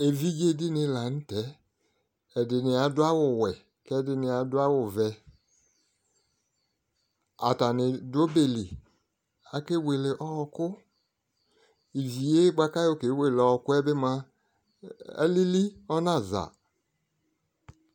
Evidze dini lanʋtɛ ɛdini adʋ awʋwɛ kʋ ɛdini adʋ awʋvɛ atani dʋ ɔbeli akewele ɔkʋ ivi yɛ bʋakʋ ayɔ ke wele ɔkʋ yɛbi mʋa alili ɔnaza